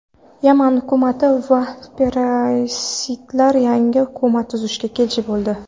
Yaman hukumati va separatistlar yangi hukumat tuzishga kelishib oldi.